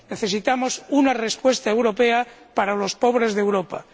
Necesitamos una respuesta europea para los pobres de Europa.